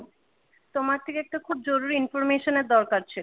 তোমার থেকে একটা খুব জরুর information এর দরকার ছিল ।